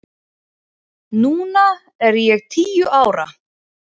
Núna er ég tíu ára.